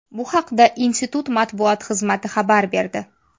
Bu haqda institut matbuot xizmati xabar berdi.